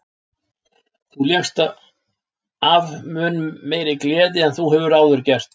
Þú lékst af mun meiri gleði en þú hefur áður gert.